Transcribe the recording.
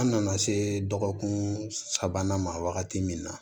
An nana se dɔgɔkun sabanan ma wagati min na